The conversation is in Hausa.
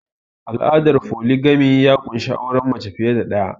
Al'adar foligami ya ƙunshi auren mace fiye da ɗaya